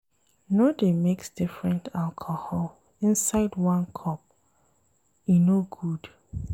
No dey mix different alcohol inside one cup, e no good.